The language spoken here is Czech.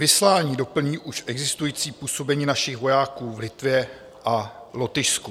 Vyslání doplní už existující působení našich vojáků v Litvě a Lotyšsku.